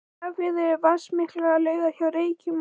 Skagafirði eru vatnsmiklar laugar hjá Reykjum og